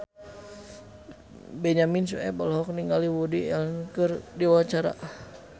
Benyamin Sueb olohok ningali Woody Allen keur diwawancara